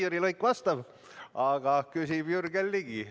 Jüri Luik vastab, aga küsib Jürgen Ligi.